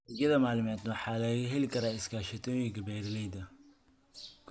Adeegyada maaliyadeed waxaa laga heli karaa iskaashatooyinka beeralayda.